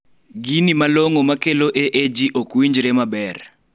gini malong'o makelo AAG ok winjre maber